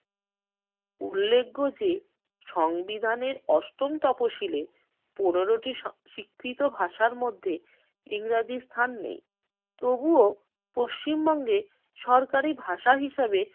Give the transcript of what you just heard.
উল্লেখ্য যে সংবিধানের অষ্টম তফসিলে পনেরোটি স্ব~ স্বীকৃত ভাষার মধ্যে ইংরেজির স্থান নেই তবুও পশ্চিম বঙ্গের সরকারি ভাষা হিসেবে